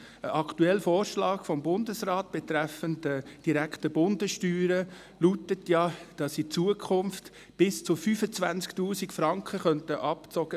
Ein aktueller Vorschlag des Bundesrats die direkten Bundessteuern betreffend lautet, dass in Zukunft bis zu 25 000 Franken abgezogen werden können.